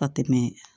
Ka tɛmɛ